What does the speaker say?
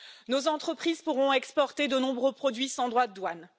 Nos entreprises pourront exporter de nombreux produits sans droits de douane.